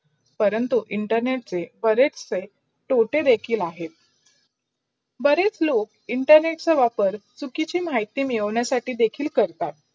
परंतु internet चे बरेच चे तोटे देखील. बरेच लोक internet चा वापर चुकीचे माहिती मैदाउनशाथि देखील करतात.